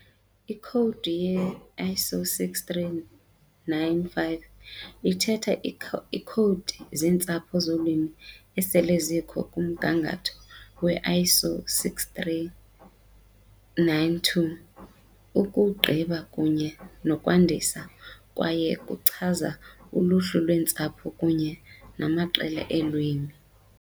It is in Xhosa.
Ikhowudi ye-ISO 639-5 ithatha iikhowudi zeentsapho zolwimi esele zikho kumgangatho we -ISO 639-2, ukuwugqiba kunye nokwandisa, kwaye kuchaza uluhlu lweentsapho kunye namaqela eelwimi.